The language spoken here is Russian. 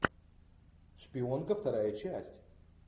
шпионка вторая часть